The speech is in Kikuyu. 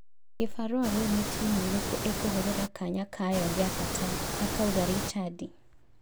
Gibarua rĩu nĩ timu ĩrĩkũ ĩkũhũthĩra kanya kayo gĩabata," akauga Richandi.